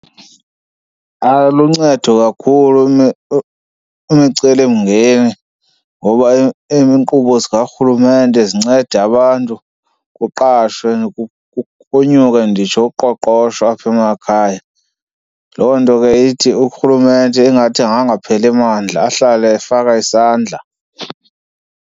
Aluncedo kakhulu imicelimngeni ngoba iinkqubo zikarhurumente zinceda abantu kuqashwe kunyuke nditsho uqoqosho apha emakhaya. Loo nto ke ithi urhulumente ingathi angangapheli mandla ahlale efaka isandla.